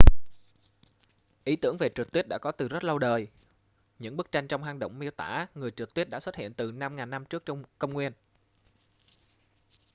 ý tưởng về trượt tuyết đã có từ rất lâu đời những bức tranh trong hang động miêu tả người trượt tuyết đã xuất hiện từ 5000 năm trước công nguyên